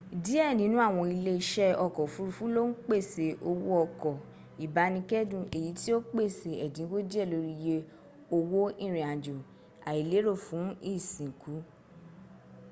díẹ̀ nínú àwọn ilẹ́ isẹ́ ọkọ̀ òfurufú lo ń pèsẹ owó ọkọ̀ ìbánikédùn èyí tí o pèsè èdínwó díẹ̀ lórí iye owó irìn- àjò àìlérò fún ìsiǹkú